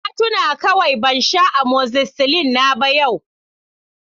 Na tuna kawai ban sha amozicillin na ba yau